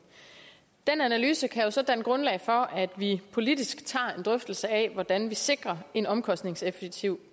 den analyse kan jo så danne grundlag for at vi politisk tager en drøftelse af hvordan vi sikrer en omkostningseffektiv